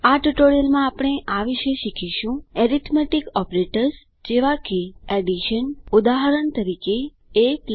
આ ટ્યુટોરીયલ માં આપણે આ વિષે શીખીશું એરીથમેટીક ઓપરેટર્સ જેવા કે એડીશન ઉદાહરણ તરીકે ab